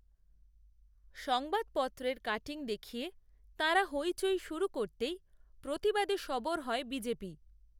সংবাদপত্রের কাটিং দেখিয়ে, তাঁরা হৈচৈ শুরু করতেই, প্রতিবাদে সরব হয় বিজেপি